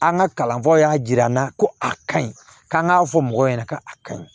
An ka kalanfaw y'a jira an na ko a ka ɲi k'an k'a fɔ mɔgɔw ɲɛna ka a ka ɲi